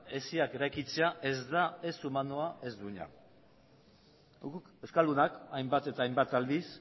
hesiak eraikitzea ez da ez humanoa ez duina guk euskaldunak hainbat eta hainbat aldiz